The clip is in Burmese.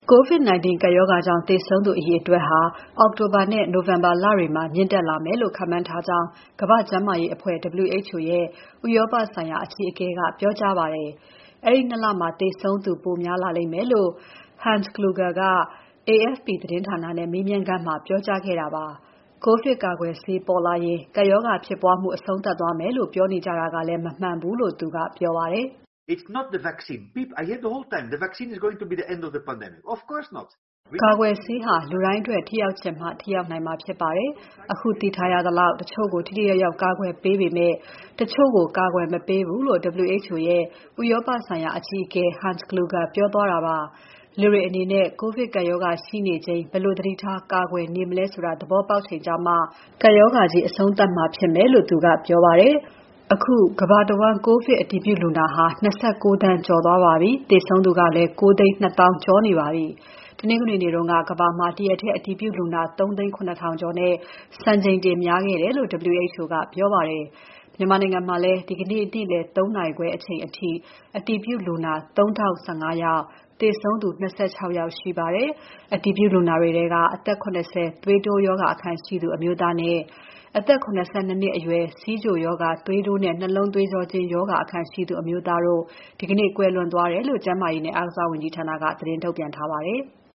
COVID-19 ကပ်ရောဂါကြောင့် သေဆုံးသူအရေအတွက် အောက်တိုဘာလနဲ့ နိုဝင်ဘာလတွေမှာ မြင့်တက်လာမယ်လို့ ခန့်မှန်းထားကြောင်း ကမ္ဘာ့ကျန်းမာရေးအဖွဲ့ WHO ရဲ့ ဥရောပဆိုင်ရာ အကြီးအကဲက ပြောကြားပါတယ်။ အဲဒီ ၂ လမှာ သေဆုံးသူ ပိုများလာလိမ့်မယ်လို့ Hans Kluge က AFP သတင်းဌာနနဲ့မေးမြန်းခန်းမှာ ပြောကြားခဲ့တာပါ။ ကိုဗစ်ကာကွယ်ဆေးပေါ်လာရင် ကပ်ရောဂါဖြစ်ပွားမှု အဆုံးသပ်သွားမယ်လို့ ပြောနေကြတာကလည်း မမှန်ဘူးလို့ သူကဆိုပါတယ်။ ကာကွယ်ဆေးဟာ လူတိုင်းအတွက် ထိရောက်ချင်မှာ ထိရောက်နိုင်မှာဖြစ်ပါတယ်။ အခုသိထားရသလောက် တချို့ကို ထိထိရောက်ရောက် ကာကွယ်ပေးပေမဲ့ တချို့ကို ကာကွယ်မပေးဘူးလို့ WHO ရဲ့ ဥရောပဆိုင်ရာ အကြီးအကဲ Hans Kluge ပြောသွားတာပါ။ လူတွေအနေနဲ့ COVID ကပ်ရောဂါရှိနေချိန် ဘယ်လို သတိထား ကာကွယ်နေမလဲဆိုတာ သဘောက်ပေါက်ချိန်ကျမှ ကပ်ရောဂါကြီး အဆုံးသပ်မှာဖြစ်မယ်လို့ သူကပြောပါတယ်။ အခုကမ္ဘာတဝန်း ကိုဗစ်အတည်ပြုလူနာဟာ ၂၉ သန်းကျော်သွားပြီး သေဆုံးသူကလည်း ၉၂၀,၀၀၀ ကျော်နေပါပြီ။ တနင်္ဂနွေနေ့က ကမ္ဘာမှာ တရက်ထဲ အတည်ပြုလူနာ ၃၇၀,၀၀၀ ကျော်နဲ့ စံချိန်တင်များခဲ့တယ်လို့ WHO ကပြောပါတယ်။ မြန်မာနိုင်ငံမှာလည်း ဒီနေ့ နေ့လည် ၃ နာရီခွဲအချိန်အထိ အတည်ပြုလူနာ ၃,၀၁၅ ယောက်၊ သေဆုံးသူ ၂၆ ယောက်ရှိပါတယ်။ အတည်ပြုလူနာတွေထဲက အသက် ၇၀ သွေးတိုးရောဂါအခံရှိသူ အမျိုးသားနဲ့ အသက် ၇၂ နှစ်အရွယ် ဆီးချိုရောဂါ၊ သွေးတိုးနဲ့ နှလုံးသွေးကြောကျဉ်းရောဂါအခံရှိသူ အမျိုးသားတို့ ဒီနေ့ ကွယ်လွန်သွားတယ်လို့ ကျန်မာရေးနဲ့ အားကစားဝန်ကြီးဌာနက သတင်းထုတ်ပြန်ထားပါတယ်။